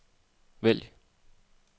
vælg